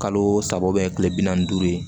Kalo saba kile bi naani ni duuru ye